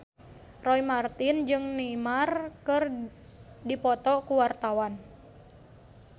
Roy Marten jeung Neymar keur dipoto ku wartawan